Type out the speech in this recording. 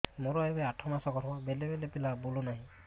ମୋର ଏବେ ଆଠ ମାସ ଗର୍ଭ ବେଳେ ବେଳେ ପିଲା ବୁଲୁ ନାହିଁ